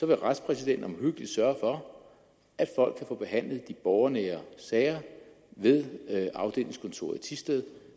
vil retspræsidenten omhyggeligt sørge for at folk kan få behandlet de borgernære sager ved afdelingskontoret i thisted